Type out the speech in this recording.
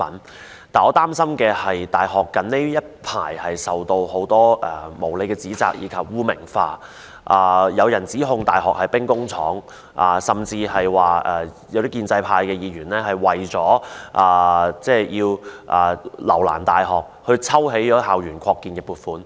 但是，我擔心的是，大學近日受到很多無理指責及被污名化，甚至有人指控大學是兵工廠，而建制派議員更為要留難大學而抽起校園擴建的撥款。